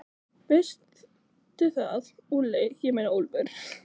Veistu það, Úlli, ég meina Úlfur.